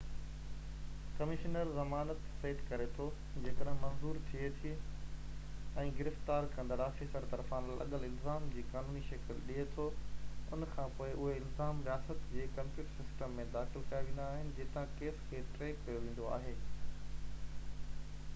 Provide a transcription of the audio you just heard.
commissioner زمانت سيٽ ڪري ٿو جيڪڏهن منظور ٿئي ٿي ۽ گرفتار ڪندڙ آفيسر طرفان لڳل الزام جي قانوني شڪل ڏي ٿو ان کانپوءِ اهي الزام رياست جي ڪمپيوٽر سسٽم ۾ داخل ڪيا ويندا آهن جتان ڪيس کي ٽريڪ ڪيو ويندو آهي